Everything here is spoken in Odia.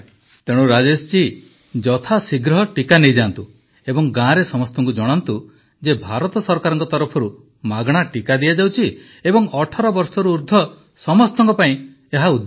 ପ୍ରଧାନମନ୍ତ୍ରୀ ତେଣୁ ରାଜେଶ ଜୀ ଯଥାଶୀଘ୍ର ଟିକା ନେଇଯାଆନ୍ତୁ ଏବଂ ଗାଁରେ ସମସ୍ତଙ୍କୁ ଜଣାନ୍ତୁ ଯେ ଭାରତ ସରକାରଙ୍କ ତରଫରୁ ମାଗଣା ଟିକା ଦିଆଯାଉଛି ଏବଂ ୧୮ ବର୍ଷରୁ ଊର୍ଦ୍ଧ ସମସ୍ତଙ୍କ ପାଇଁ ଏହା ଉଦ୍ଦିଷ୍ଟ